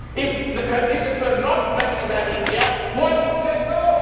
If the conditions were not better than India, why would they go?